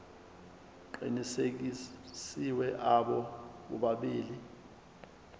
aqinisekisiwe abo bobabili